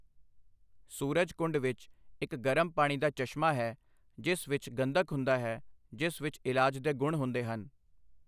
ਸੂਰਜਕੁੰਡ ਵਿੱਚ ਇੱਕ ਗਰਮ ਪਾਣੀ ਦਾ ਚਸ਼ਮਾ ਹੈ ਜਿਸ ਵਿੱਚ ਗੰਧਕ ਹੁੰਦਾ ਹੈ ਜਿਸ ਵਿੱਚ ਇਲਾਜ ਦੇ ਗੁਣ ਹੁੰਦੇ ਹਨ।